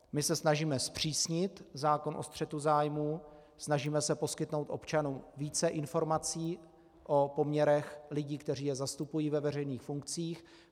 My se snažíme zpřísnit zákon o střetu zájmů, snažíme se poskytnout občanům více informací o poměrech lidí, kteří je zastupují ve veřejných funkcích.